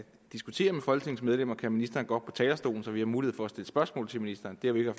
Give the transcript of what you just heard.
at diskutere med folketingets medlemmer kan ministeren gå op på talerstolen så vi har mulighed for at stille spørgsmål til ministeren det har vi jo